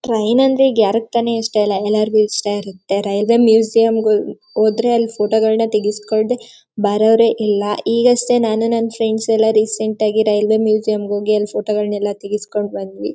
Train ಅಂದ್ರೆ ಈಗ ಯಾರಿಗೆ ತಾನೇ ಇಷ್ಟ ಇಲ್ಲ ಎಲ್ಲರಿಗೂ ಇಷ್ಟ ಇರತ್ತೆ. ರೈಲ್ವೆ ಮ್ಯೂಸಿಯಂಗೆ ಗೆ ಹೊ ಹೋದ್ರೆ ಅಲ್ಲಿ ಫೋಟೋಗಳನ್ನ ತೆಗಿಸಿಕೊಳ್ಳದೆ ಬರೊವರೆ ಇಲ್ಲ. ಈಗಷ್ಟೇ ನಾನು ನನ್ನ ಫ್ರೆಂಡ್ಸ್ ಎಲ್ಲ ರೀಸೆಂಟ್ ಆಗಿ ರೈಲ್ವೆ ಮ್ಯೂಸಿಯಂ ಗೆ ಹೋಗಿ ಅಲ್ಲಿ ಫೋಟೋಗಳನ್ನ ತೆಗಿಸಿಕೊಂಡು ಬಂದ್ವಿ.